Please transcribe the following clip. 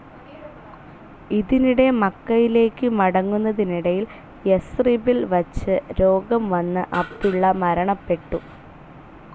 ഇതിനിടെ മക്കയിലേക്ക് മടങ്ങുന്നതിനിടയിൽ യസ്രിബിൽ വച്ചു രോഗം വന്നു അബ്ദുള്ള മരണപ്പെട്ടു.